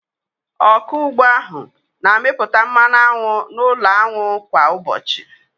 Ọkụ ugbo ahụ na-amịpụta mmanụ aṅụ n'ụlọ aṅụ kwa ụbọchị.